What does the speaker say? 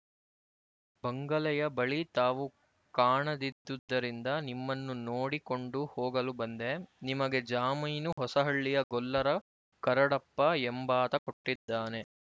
ಬಂಗಲೆಯ ಬಳಿ ತಾವು ಕಾಣದಿದ್ದುದರಿಂದ ನಿಮ್ಮನ್ನು ನೋಡಿಕೊಂಡು ಹೋಗಲು ಬಂದೆ ನಿಮಗೆ ಜಾಮೀನು ಹೊಸಹಳ್ಳಿಯ ಗೊಲ್ಲರ ಕರಡಪ್ಪ ಎಂಬಾತ ಕೊಟ್ಟಿದ್ದಾನೆ